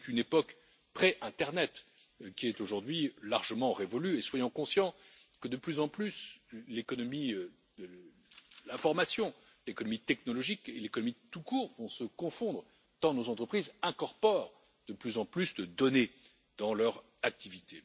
C'est une époque pré Internet qui est aujourd'hui largement révolue et soyons conscients que de plus en plus, l'économie de l'information, l'économie technologique et l'économie tout court vont se confondre, tant nos entreprises incorporent de plus en plus de données dans leur activité.